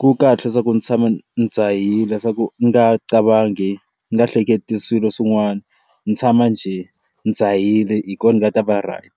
ku kahle leswaku ndzi tshama ndzi dzhahile swa ku ni nga qavanghi ni nga hleketi swilo swin'wana ni tshama njhe ndzi dzhahile hi kona va ta va right.